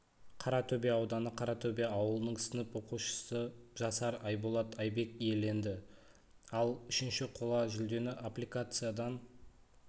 қаратөбе ауданы қаратөбе ауылының сынып оқушысы жасар айболат айбек иеленді ал үшінші қола жүлдені аппликациядан